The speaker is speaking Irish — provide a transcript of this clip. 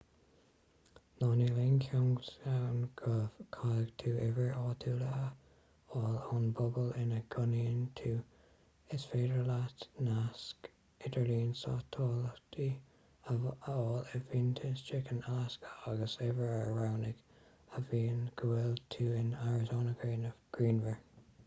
ná níl aon cheanglas ann go gcaithfidh tú uimhir áitiúil a fháil ón bpobal ina gcónaíonn tú is féidir leat nasc idirlín satailíte a fháil i bhfiántas chicken alasca agus uimhir a roghnú a mhaíonn go bhfuil tú in arizona grianmhar